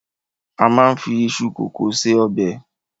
A máa ń fi iṣu kòkó se ọbẹ̀.